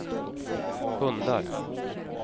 hundar